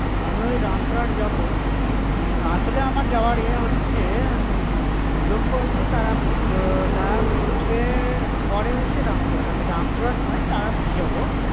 আমি ওই রামপুরহাট যাবো আসলে আমার যাওয়ার এ হচ্ছে লক্ষ্য হচ্ছে তারাপীঠ তো তারাপীঠ এর পরে হচ্ছে রামপুরহাট আমি ওই রামপুরহাট নয় তারাপীঠ যাবো.